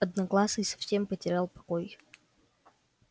одноглазый совсем потерял покой